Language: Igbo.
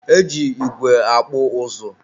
e ji igwe akpụ ụzụ.